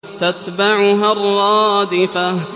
تَتْبَعُهَا الرَّادِفَةُ